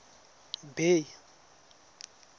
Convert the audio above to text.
bay